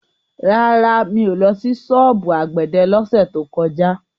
Rárá, mi ò lọ sí ṣọ́ọ̀bù àgbẹ̀dẹ lọ́sẹ̀ tó kọjá.